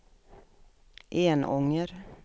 Enånger